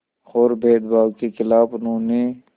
और भेदभाव के ख़िलाफ़ उन्होंने